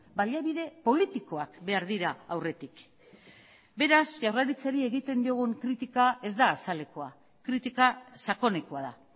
baliabide politikoak behar dira aurretik beraz jaurlaritzari egiten diogun kritika ez da azalekoa kritika sakonekoa da